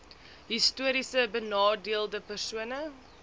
histories benadeelde persone